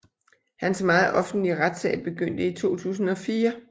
Hans meget offentlige retssag begyndte i 2004